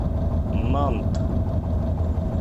нант